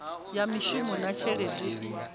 ya mishumo na tshelede i